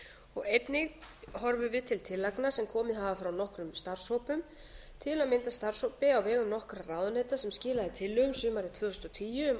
og einnig horfum við til tillagna sem komið hafa frá nokkrum starfshópum til að mynda starfshópi á vegum nokkurra ráðuneyta sem skilaði tillögum sumarið tvö þúsund og tíu um aðgerðir